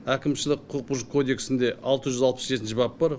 әкімшілік құқық бұзушылық кодексінде алты жүз алпыс жетінші бап бар